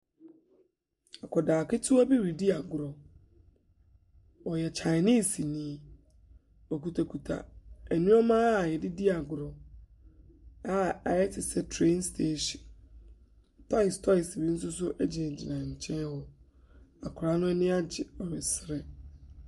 Akwadaa ketewa bi redi agorɔ. Ɔyɛ Chinese ni. Ɔkitakita nneɛma a wɔde di agorɔ a ayɛ te sɛ train station. Toys toys bi nso so gyinagyina ne nkyɛn hɔ. Akwadaa no ani agye, ɔresere.